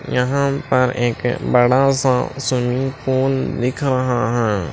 यहां पर एक बड़ा सा स्विमिंग पूल दिख रहा है।